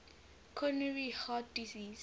coronary heart disease